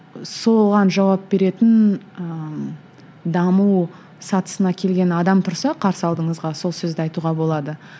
соған жауап беретін ыыы даму сатысына келген адам тұрса қарсы алдыңызға сол сөзді айтуға болады